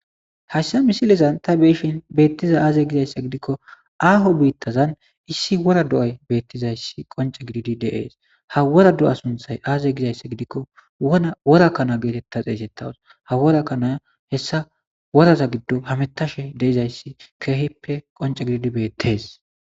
Haysa missilezan ta betizay aze gizaysa gidiko aho bitazan issi wora do'ay betizaysi qonc'e gididi de'es ha wora do'a suntay aze gizaysa gidiko wora kana geteta xesetawus ha wora kana hesa woraza gidon hametashe de'awus.